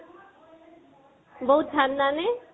বহুত ঠান্দা নে?